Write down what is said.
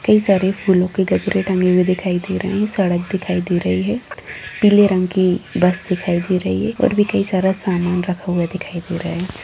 कई सारे फूलो के गजरे टंगे हुए दिखाई दे रहे है सड़क दिखाई दे रही है पीले रंग की बस दिखाई दे रही है और भी कई सारा सामान रखा हुआ दिखाई दे रहा है।